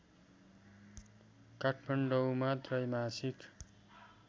काठमाडौँमा त्रैमासिक